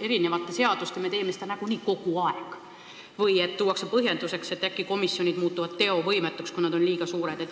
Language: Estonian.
erinevate seadustega me teeme seda nagunii kogu aeg – või tuuakse põhjenduseks, et äkki komisjonid muutuvad teovõimetuks, kui nad on liiga suured?